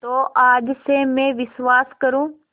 तो आज से मैं विश्वास करूँ